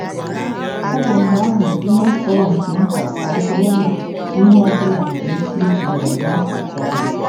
Ọ bụ mgbe ahụ ihe fọrọ nke nta ka ọ bụrụ ihe ọ bụla nwere ike iziga m n'akụkụ ọnụ. ”